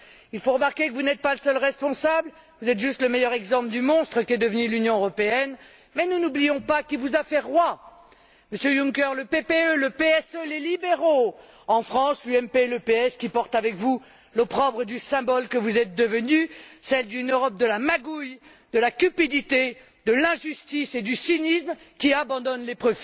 Il faut remarquer que vous n'êtes pas le seul responsable, vous êtes juste le meilleur exemple du monstre qu'est devenue l'Union européenne mais nous n'oublions pas qui vous a fait roi Monsieur Juncker le PPE, le PSE et les libéraux ainsi que, en France, l'UMP et le PS, portent avec vous l'opprobre du symbole que vous êtes devenu, celui d'une Europe de la magouille, de la cupidité, de l'injustice et du cynisme qui abandonne les